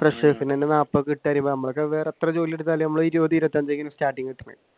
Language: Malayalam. freshers ന് തന്നെ നാല്പതു നമ്മളൊക്കെ വേറെ എത്ര ജോലിയെടുത്താലും ഇരുപതു ഇരുപത്തിയഞ്ചെ starting